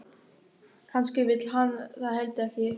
Kannski vill hann það heldur ekki.